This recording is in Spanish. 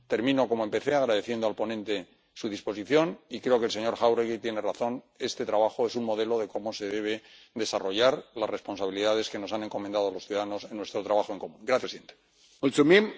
Termino como empecé, agradeciendo al ponente su disposición, y creo que el señor Jáuregui tiene razón este trabajo es un modelo de cómo se deben desarrollar las responsabilidades que nos han encomendado los ciudadanos en nuestro trabajo en común.